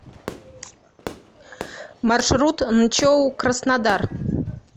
маршрут нчоу краснодар